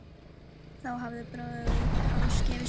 Þá hafði bróðir hans gefist upp.